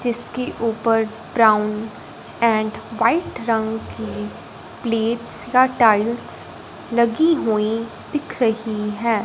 जिसके ऊपर brown and white रंग की प्लेट्स का टाइल्स लगी हुई दिख रही है।